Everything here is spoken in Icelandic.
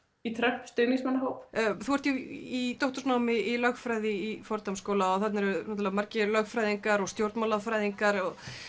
í Trump stuðningsmannahóp þú ert í doktorsnámi í lögfræði í Fordham skóla og þarna eru náttúrulega margir lögfræðingar og stjórnmálafræðingar